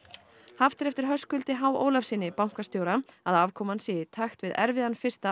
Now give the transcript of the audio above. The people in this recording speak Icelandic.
haft er eftir Höskuldi h Ólafssyni bankastjóra að afkoman sé í takt við erfiðan fyrsta